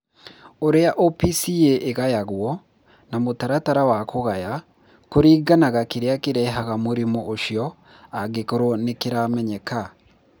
Ũrĩa OPCA ĩgayagwo (na mũtaratara wa kũgaya) kũringanaga kĩrĩa kĩrehaga mũrimũ ũcio, angĩkorũo nĩ kĩramenyeka.